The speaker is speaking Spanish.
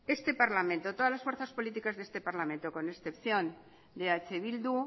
este parlamento todas las fuerzas políticas de este parlamento con excepción de eh bildu